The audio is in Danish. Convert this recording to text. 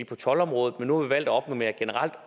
på toldområdet men nu har vi valgt at opnormere generelt